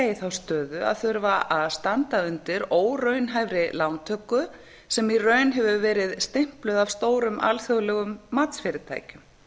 þá stöðu að þurfa að standa undir óraunhæfri lántöku sem í raun hefur verið stimpluð af stórum alþjóðlegum matsfyrirtækjum